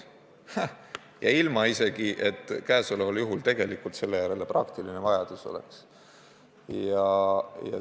Ja praegusel juhul isegi ilma, et selle järele praktiline vajadus oleks.